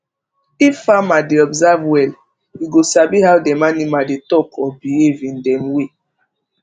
if farmer dey observe well e go sabi how dem animal dey talk or behave in dem way